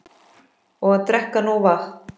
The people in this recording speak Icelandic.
Og drekka nóg vatn.